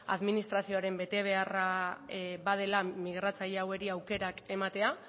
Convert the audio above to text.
administrazioaren betebeharra badela migratzaile hauei aukerak ematea